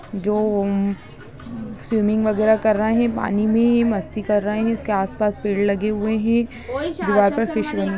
जो स्विमिंग वगैरह कर रहे है पानी में मस्ती कर रहे है इसके आस-पास पेड़ लगे हुए है।